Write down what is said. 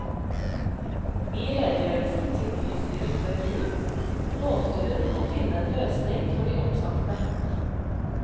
I redegjørelsen til bystyret før jul, lovte hun å finne en løsning for de oppsagte.